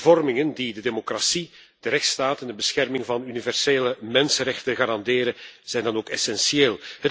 Hervormingen die de democratie, de rechtsstaat en de bescherming van universele mensenrechten garanderen zijn dan ook essentieel.